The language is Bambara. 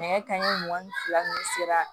Nɛgɛ kanɲɛ mugan ni fila ninnu sera